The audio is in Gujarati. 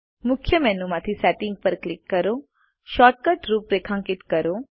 મુખ્ય મેનુ માંથી સેટિંગ્સ પર ક્લિક કરો શોર્ટ કટ્સ રૂપરેખાંકિત કરો